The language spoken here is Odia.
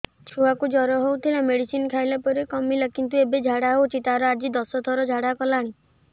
ଛୁଆ କୁ ଜର ହଉଥିଲା ମେଡିସିନ ଖାଇଲା ପରେ କମିଲା କିନ୍ତୁ ଏବେ ଝାଡା ହଉଚି ତାର ଆଜି ଦଶ ଥର ଝାଡା କଲାଣି